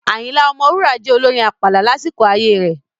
Ayinla Omowura jẹ́ olorin àpàlà lásìkò ayé rẹ̀.